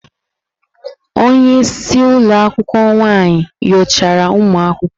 Onye isi ụlọ akwụkwọ nwaanyị nyochara ụmụ akwụkwọ.